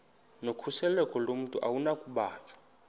nokhuseleko lomntu akunakubanjwa